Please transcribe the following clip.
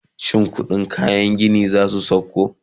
shin ƙuɗin kayan gini zasu sauko?